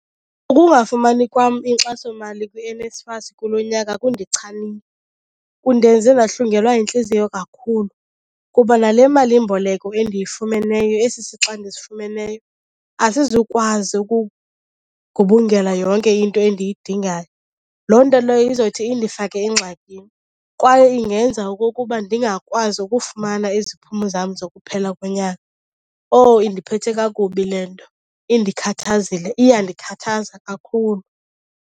Ukungafumani kwam inkxasomali kwiNSFAS kulo nyaka kundichanile. Kundenze ndahlungelwa yintliziyo kakhulu kuba nale malimboleko endiyifumeneyo, esi sixa ndisifumeneyo, asizukwazi ukugubungela yonke into endiyidingayo. Loo nto leyo izothi indifake engxakini kwaye ingenza okokuba ndingakwazi ukufumana iziphumo zam zokuphela konyaka. Owu, indiphethe kakubi le nto! Indikhathazile, iyandikhathaza kakhulu.